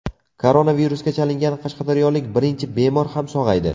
Koronavirusga chalingan qashqadaryolik birinchi bemor ham sog‘aydi.